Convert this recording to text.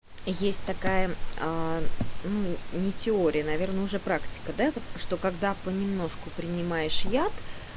есть такая аа ну не теория наверное уже практика да вот что когда понемножку принимаешь яд